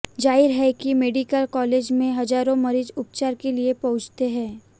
जाहिर है कि मेडिकल कालेज में हजारों मरीज उपचार के लिए पहुंचते हैं